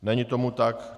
Není tomu tak.